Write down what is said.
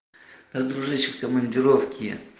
дружище в командировке